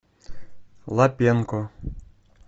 лапенко